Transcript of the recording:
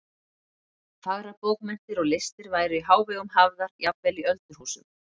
Fagrar bókmenntir og listir væru í hávegum hafðar jafnvel í öldurhúsum.